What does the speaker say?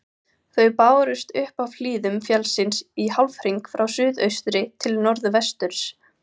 Þau bárust upp af hlíðum fjallsins í hálfhring frá suðaustri til norðvesturs.